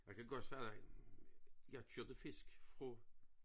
Jeg kan godt sige dig jeg kørte fisk fra